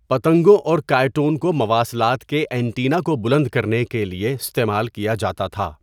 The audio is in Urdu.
پتنگوں اور کاۓٹون کو مواصلات کے اینٹینا کو بلند کرنے کے لیے استعمال کیا جاتا تھا۔